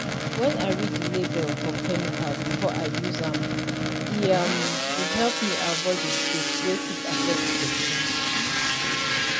wen i read the label for chemical before i use am e um dey help me avoid mistake wey fit affect person.